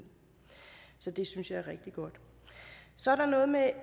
så det synes jeg er rigtig godt så er der noget med